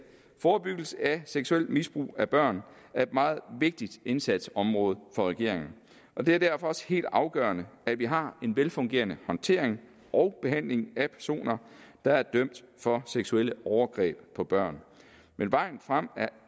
forebyggelse af seksuelt misbrug af børn er et meget vigtigt indsatsområde for regeringen og det er derfor også helt afgørende at vi har en velfungerende håndtering og behandling af personer der er dømt for seksuelle overgreb på børn men vejen frem er